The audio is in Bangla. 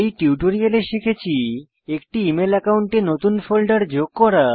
এই টিউটোরিয়াল শিখেছি একটি ইমেল একাউন্টে নতুন ফোল্ডার যোগ করা